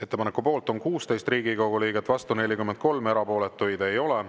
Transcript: Ettepaneku poolt on 16 Riigikogu liiget, vastu 43, erapooletuid ei ole.